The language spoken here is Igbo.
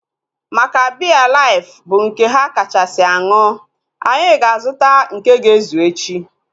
Maka biya life bụ nke ha kachasị aṅụ, anyị ga-azuta nke ga ezu echi